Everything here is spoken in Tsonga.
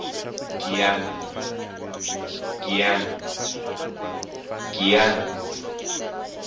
giyani